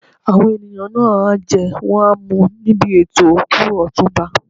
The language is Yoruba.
Àwọn ènìyàn náà á jẹ́ wọ́n á mu níbi ètò òkú Ọ̀túnba.